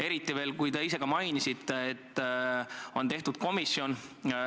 Eriti veel, kui te ise ka mainiste, et on tehtud komisjon.